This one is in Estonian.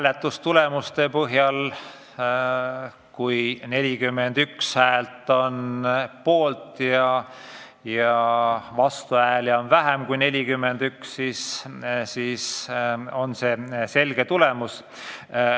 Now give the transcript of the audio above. Mis puutub hääletusse, siis kui 41 häält on poolt ja vastuhääli on vähem kui 41, siis on see selge tulemus.